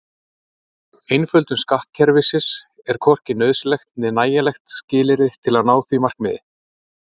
Einföldun skattkerfisins er hvorki nauðsynlegt né nægjanlegt skilyrði til að ná því markmiði.